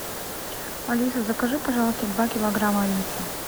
алиса закажи пожалуйста два килограмма риса